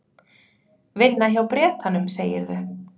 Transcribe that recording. Vinna hjá Bretanum, segirðu?